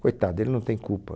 Coitado, ele não tem culpa.